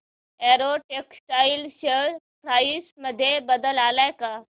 Arrow Textiles share price मध्ये बदल आलाय का